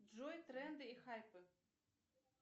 джой тренды и хайпы